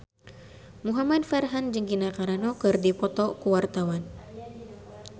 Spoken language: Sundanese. Muhamad Farhan jeung Gina Carano keur dipoto ku wartawan